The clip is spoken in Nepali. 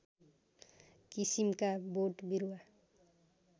किसिमका बोट बिरुवा